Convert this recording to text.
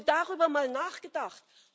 Haben Sie darüber mal nachgedacht?